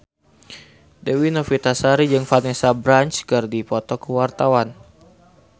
Dewi Novitasari jeung Vanessa Branch keur dipoto ku wartawan